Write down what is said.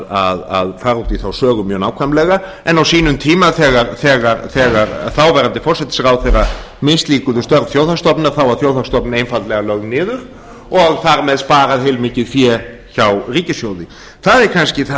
að fara út í þá sögu mjög nákvæmlega en á sínum tíma þegar þáverandi forsætisráðherra mislíkuðu störf þjóðhagsstofnun var þjóðhagsstofnun einfaldlega lögð niður og þar með sparað heilmikið fé hjá ríkissjóði það er kannski það